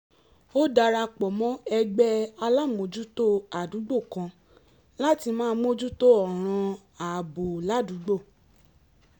ó dara pọ̀ mọ́ ẹgbẹ́ alámòójútó àdúgbò kan láti máa mójú tó ọ̀ràn ààbò ládùúgbò